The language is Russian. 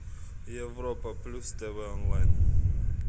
европа плюс тв онлайн